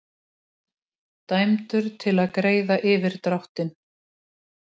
Dæmdur til að greiða yfirdráttinn